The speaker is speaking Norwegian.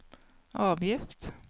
avgift